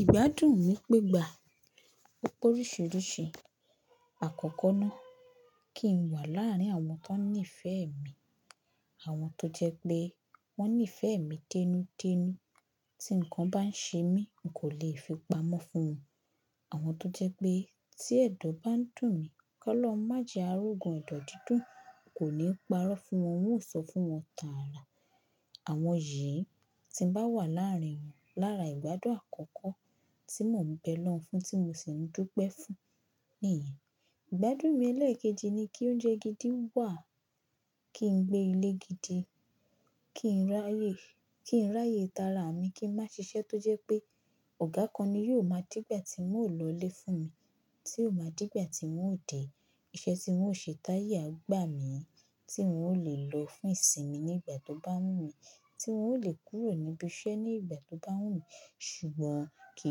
Ìgbádùn mi pẹ́gbà oríṣiríṣi. Àkọ́kọ́ náà kí n wà láàrin àwọn tó ní ìfẹ́ mi, àwọn tó jẹ pé wọ́n ní ìfẹ́ mi dẹ́nudẹ́nu. Tí nǹkan bá n ṣe mí, hun kò lè fi pamọ́ fún wọn. Àwọn tó jẹ pé tí ẹ̀dọ̀ bá n dùn mí kọ́ lọ́hun májè árógun ẹ̀dọ̀ dídùn, hun kò ní parọ́ fún wọn, hun ó sọ fún wọn tààrà. Àwọn yìí tí ń bá wà láàrin wọn lára ìgbádùn àkọ́kọ́ tí mò ń bẹ lọ́wọ́ ń fún, tí mò sì ń dúpẹ́ fún ni ìyẹn. Ìgbádùn mi ẹlẹ́ẹ̀kejì ni kí óúnjẹ gidi wà, kí n gbé ilé gidi, kí n ráyè, kí n ráyè tààrà mi, kí n má ṣiṣẹ́ tó jẹ pé ọ̀gá kan ni yóò máa dígbà tí ń ó lọlé fún mi, tí ó máa dígbà tí ń ó dèé, iṣẹ́ tí ń ó ṣe t'áye a gbà mí, tí hun ó lè lo fún ìsinmi ní ìgbà tó bá wù mí, tí ń ó lè kúrò níbi iṣẹ́ ní ìgbà tó bá wù mí. Ṣùgbọ́n kì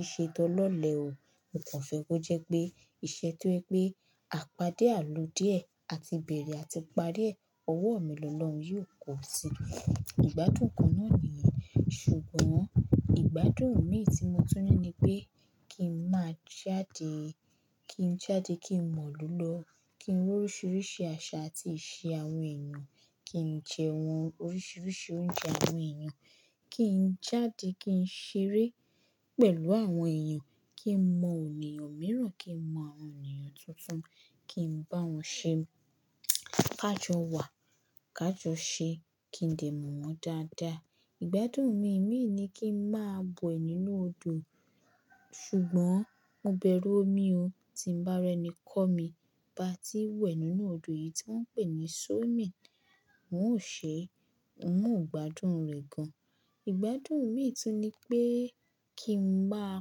í ṣe to lọ́lẹ̀ o. Mo kàn fẹ́ kó jẹ́ pé iṣẹ́ tó jẹ́ pé àpádé àlùde ẹ̀ àti bèrè àti parí ẹ̀, ọwọ́ mi lọ́ lọ́hun yóò kó si. Ìgbádùn kan náà nìyẹn. Ṣùgbọ́n ìgbádùn mi tí mo tú ní ni pé kí n má jáde, kí n jáde kí n mọ̀lù lọ́, kí n rí oríṣiríṣi àṣà àti ìṣe àwọn èèyàn, kí n jẹ́ wọn oríṣiríṣi oúnjẹ àwọn èèyàn, kí n jáde kí n ṣeré pẹ̀lú àwọn èèyàn, kí n mọ òníyàn mìíràn, kí n mọ àwọn òníyàn tuntun, kí n bá wọn ṣe, kájo wà, kájo ṣe, kí n dè mọ̀ wọ́n dáadáa. Ìgbádùn mi imi ìní kí n má wẹ nínú odò. Ṣùgbọ́n mo bẹ̀rù omi o. Tí ń bá rẹ́ni kọ́ mi ba ti n wẹ̀ nínú odò yìí tí wọ́n ń pè ní swimming hun ó ṣe, hun o gbádùn rẹ̀ gan. Ìgbádùn mi tún ni pé kí n máa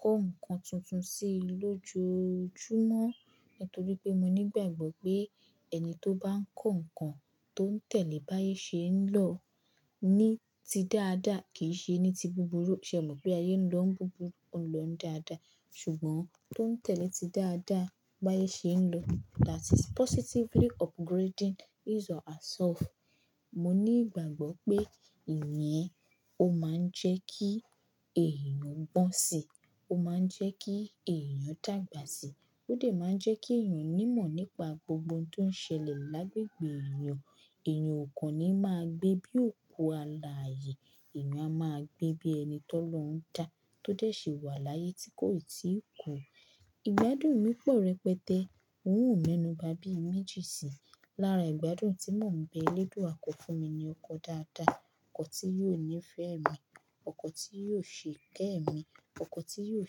kọ́ ǹkan tuntun sí lójojúmọ́. Nítorí pé mo ní ìgbàgbọ́ pé ẹni tó bá ń kọ́ ǹkan tó ń tẹ̀lé báyìí ṣe ń lọ ní ti dáadáa, kì í ṣe ẹni ti búburú. Ṣe ò mọ̀ pé ayé ń lọ ń búburú, òun lọ ń dáadáa? Ṣùgbọ́n tó ń tẹ̀lé ti dáadáa báye ṣe ń lọ, that is positively upgrading his or herself. Mo ní ìgbàgbọ́ pé ìyẹn o má ń jẹ́ kí èèyàn gbọ́n si, o má ń jẹ́ kí èèyàn dàgbà sí. Ó de máa ń jẹ́ kí èèyàn ní ìmọ̀ nípa gbogbo ohun tó ń ṣẹlẹ̀ lágbègbè èèyàn. Èèyàn ò kan ni máa gbé bí òkú aláàyè, èèyàn a máa gbé bí ẹni tó lọ́ ń dá tó dẹ̀ ṣe wà láyé tí kò ì tí ì kú. Ìgbádùn mi pọ̀ rẹpẹtẹ. N ò me nu ba bí i méjì sí. Lára ìgbádùn tí mò ń bẹ elédùá kọ fún mi ni ọkọ dáadáa, ọkọ tí yóò ní ìfẹ́ mi, ọkọ tí yóò ṣe kẹ́mi, ọkọ tí yóò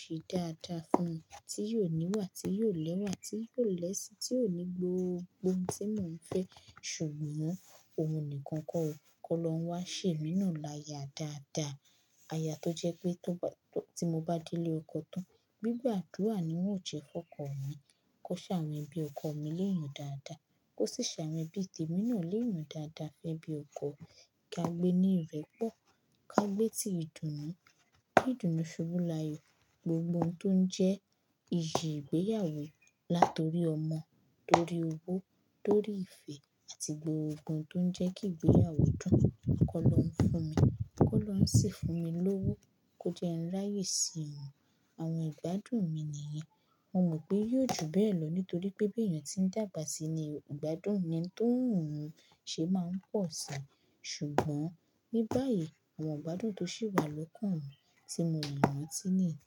ṣe dáadáa fún mi, tí yóò níwà, tí yóò lẹ́wà, tí yóò lẹ́ṣìn, tí yóò ní gbogbo ohun tí mò ń fẹ́. Ṣùgbọ́n òun nìkan kọ́ o, kọ́ lọ́huń wá ṣè mí náà láya dáadáa. Aya tó jẹ́ pé tó bá, tí mo bá délé ọkọ tán, gbígbàdúrà ni ń óò ṣe kọ́kọ́ wọn. Kó ṣe àwọn ẹbí ọkọ mi l'éeyan dáadáa, kó sì ṣàwonn ẹbí te mí náà lẹ́yan dáadáa. Fẹ́ bí ọkọ, kí a gbé ní ìrẹ́pọ̀, kí a gbé tí ìdùnnú, kí ìdùnnú subù láàyò gbogbo ohun tó ń jẹ́ iyì ìgbéyàwó. Látorí ọmọ, lórí owó, lórí ìfẹ́ àti gbogbo ohun tó ń jẹ́ kí ìgbéyàwó dùn, kọ́ lọ́huń fún mi, kọ́ lọ́ ń sì fún mi lówó, kó jẹ́ ń ráyè sí òun. Àwọn ìgbádùn mi nìyẹn. Mo mọ̀ pé yóò ju bẹ́ẹ̀ lọ nítorí pé bí èèyàn ti ń dàgbà sí ní, ìgbádùn ni tó ń hun ṣe máa ń pọ̀ si. Ṣùgbọ́n ní báyìí, àwọn ìgbádùn tó sì wà lọ́kàn mi tí mo mọ̀ rántí nìyẹn.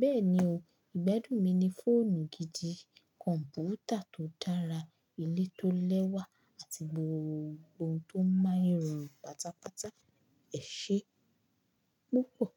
Bẹ́ẹ̀ni o. Ìgbádùn mi ni fóònù gidi, kọ̀m̀pútà tó dára, ilé tó lẹ́wà àti gbogbo ohun tó ń má irun pátápátá. Ẹ̀ṣe púpọ̀.